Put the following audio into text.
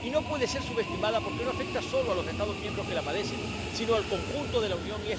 Y no puede ser subestimada, porque no afecta solo a los Estados miembros que la padecen, sino al conjunto de la Unión.